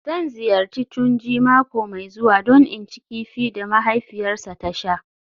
Zan ziyarci Tunji mako mai zuwa don in ci kifi da mahaifiyarsa ta sha